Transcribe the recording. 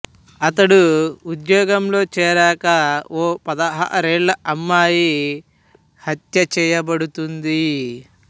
అతడు ఉద్యోగంలో చేరాకా ఓ పదహారేళ్ళ అమ్మాయి హత్య చేయబడుతుంది